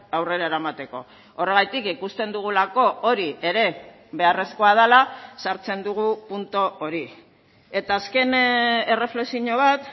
aurrera eramateko horregatik ikusten dugulako hori ere beharrezkoa dela sartzen dugu puntu hori eta azken erreflexio bat